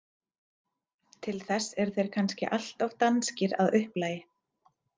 Til þess eru þeir kannski allt of danskir að upplagi.